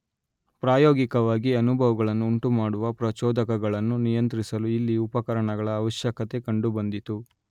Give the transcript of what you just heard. ಪ್ರಾಯೋಗಿಕವಾಗಿ ಅನುಭವಗಳನ್ನು ಉಂಟುಮಾಡುವ ಪ್ರಚೋದಕಗಳನ್ನು ನಿಯಂತ್ರಿಸಲು ಇಲ್ಲಿ ಉಪಕರಣಗಳ ಆವಶ್ಯಕತೆ ಕಂಡುಬಂದಿತು.